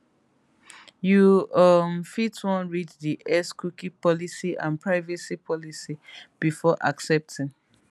you um fit wan read di xcookie policyandprivacy policybefore accepting